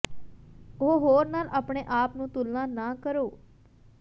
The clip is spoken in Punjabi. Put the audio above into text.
ਉਹ ਹੋਰ ਨਾਲ ਆਪਣੇ ਆਪ ਨੂੰ ਤੁਲਨਾ ਨਾ ਕਰੋ